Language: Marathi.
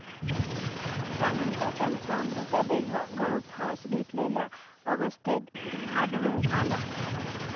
त्यानंतर त्याचा मृतदेह गळफास घेतलेल्या अवस्थेत आढळून आला.